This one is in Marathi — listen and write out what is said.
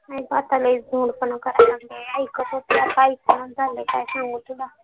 नाही नाही आता जास्त खोडपणा करायला लागलंय ऐकतच नाही काय सांगू तुला